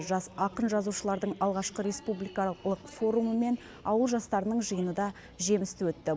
жас ақын жазушылардың алғашқы республикалық форумы мен ауыл жастарының жиыны да жемісті өтті